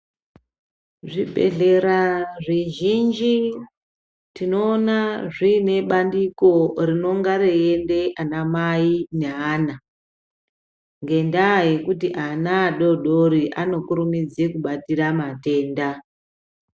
Zvibhehlera zvizhinji tinoona zviine bandiko rinonga reinde ana mai neana ngendaa yekuti ana adodori anokurumidze kubatira matenda.